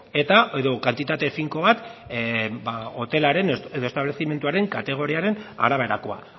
eta edo kantitate finko bat hotelaren edo establezimenduaren kategoriaren araberakoa